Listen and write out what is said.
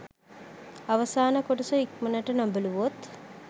අවසාන කොටස ඉක්මනට නොබැලුවොත්